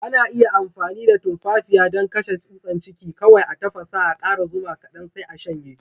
Ana iya amfani da tumfafiya dan kashen tsusan ciki. Kowai a tafassa,a kara zuma kadan, sai a shanye.